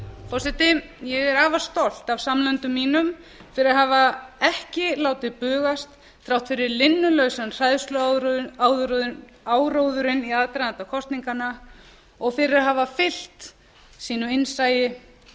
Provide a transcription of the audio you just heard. forseti ég er afar stolt af samlöndum mínum fyrir að hafa ekki látið bugast þrátt fyrir linnulausan hræðsluáróðurinn í aðdraganda kosninganna og fyrir að hafa allt sínu innsæi